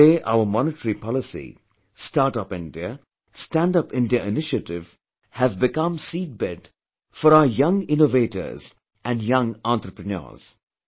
Today our monetary policy, Start Up India, Stand Up India initiative have become seedbed for our young innovators and young entrepreneurs